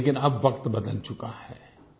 लेकिन अब वक्त बदल चुका है